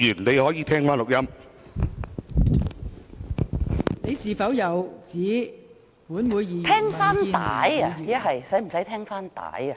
毛議員，你有否指本會議員或民建聯議員......